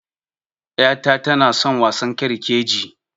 'yata tanason wasan girkegirke